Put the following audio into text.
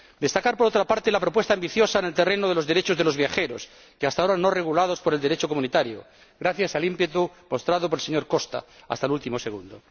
Quiero destacar, por otra parte, la propuesta ambiciosa en el terreno de los derechos de los viajeros, hasta ahora no regulados por el Derecho comunitario, gracias al ímpetu mostrado por el señor Costa hasta el último segundo.